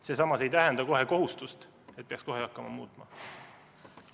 See samas ei tähenda kohustust, et peaks kohe muutma hakkama.